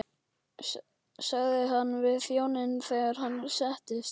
sagði hann við þjóninn þegar hann settist.